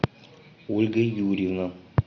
ольга юрьевна